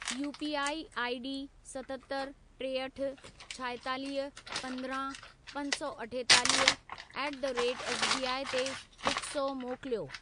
UPI ID सतहतरि. टेहठि, छाएतालीह, पंद्रहं, पंज सौ अठेतालीह ऍट द रेट एसबीआई ते हिकु सौ मोकिलियो।